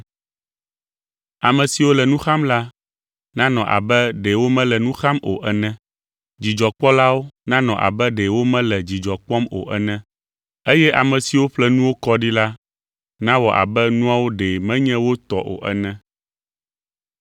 Ame siwo le nu xam la, nanɔ abe ɖe womele nu xam o ene, dzidzɔkpɔlawo nanɔ abe ɖe womele dzidzɔ kpɔm o ene, eye ame siwo ƒle nuwo kɔ ɖi la nawɔ abe nuawo ɖe menye wo tɔ o ene.